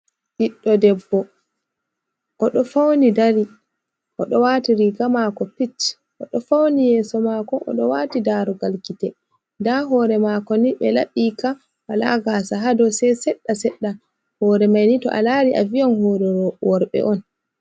Ɓiɗɗo debbo, oɗo fauni dari oɗo waati riga maako pich, o ɗo fauni yeeso maako, oɗo waati daarugal gite nda hoore mako ni ɓe laɓika wala gaasa ha dou sei seɗɗa seɗɗa, hoore mai ni to a lari a viyan hoore worɓe on.